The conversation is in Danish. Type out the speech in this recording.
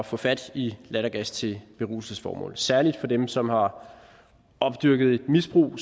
få fat i lattergas til beruselsesformål særlig for dem som har opdyrket et misbrug